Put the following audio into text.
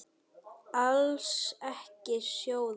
Alls ekki sjóða.